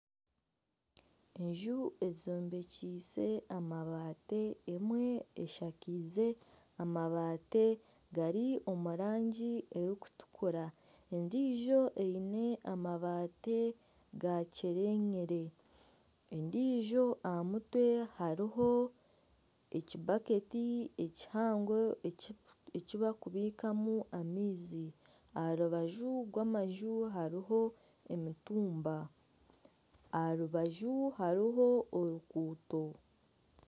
Enju ezombekise amabati emwe eshakiize amabati gari omu rangi erikutukura endiijo eine amabati gakyerenyire endiijo aha mutwe hariho ekibaketi kihango eki bakubikamu amaizi aha rubaju rw'amaju hariho emitumba, aha rubaju hariho oruguuto.